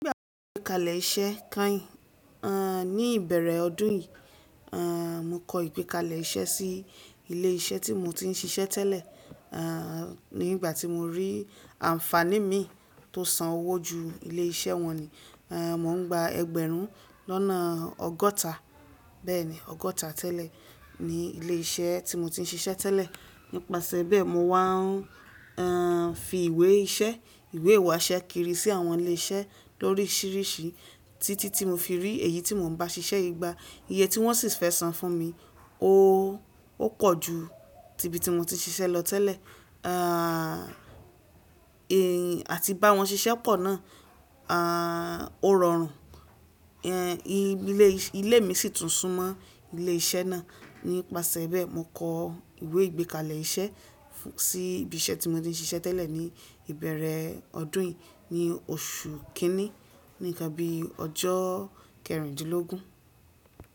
Ìgbà ìgbékalẹ̀ iṣẹ́ keyìn, ní ìbẹ̀rẹ̀ ọdún yìí, mo kọ ìgbékalẹ̀ iṣẹ́ sí ilé iṣẹ́ tí mo ti ń ṣiṣẹ́ tẹ́lẹ̀, nígbà tí mo rí àǹfàní mi tó san owó jù ilé iṣẹ́ wọn ni, mò ń gba ẹgbẹ̀rún lọ́nà ọgọ́ta, bẹ́ẹ̀ni, ọgọ́ta tẹ́lẹ̀ ní ilé iṣẹ́ tí mo ti ń ṣiṣẹ́ tẹ́lẹ̀. Nípasẹ̀ bẹ́ẹ̀, mo wá ń fi ìwé iṣẹ́, ìwé ìwásẹ́ kiri sí àwọn ilé iṣẹ́ lórísìíríṣìí títí tí mo fi rí èyí tí mò ń bá ṣiṣẹ́ yii gba. Iye tí wọ́n sì fẹ́ san fún mi, ó pọ̀ ju tíbi tí mo ti ń ṣiṣẹ́ lọ tẹ́lẹ̀. Àti báwọn ṣiṣẹ́ pọ̀ náà, ó rọrùn. Ilé mi sì tún súnmọ́ ilé iṣẹ́ náà. Nípasẹ̀ bẹ́ẹ̀, mo kọ ìwé ìgbékalẹ̀ iṣẹ́ sí ibi iṣẹ́ tí mo ti ń ṣiṣẹ́ tẹ́lẹ̀ ní ìbẹ̀rẹ̀ ọdún yìí, ní oṣù kínní, ní nnkán bíi ọjọ́ kẹrìndínlógún.